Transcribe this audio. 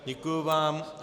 Děkuji vám.